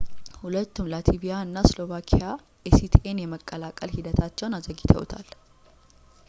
ሁለቱም ላትቪኣ እና ስሎቫኪያ ኤሲቲኤን የመቀላቀል ሂደታቸውን አዘግይተውታል